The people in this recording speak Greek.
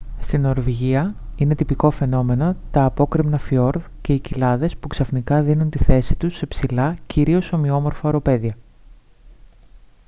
στη νορβηγία είναι τυπικό φαινόμενο τα απόκρημνα φιορδ και οι κοιλάδες που ξαφνικά δίνουν τη θέση τους σε ψηλά κυρίως ομοιόμορφα οροπέδια